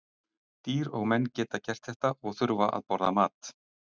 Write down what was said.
Dýr og menn geta ekki gert þetta og þurfa að borða mat.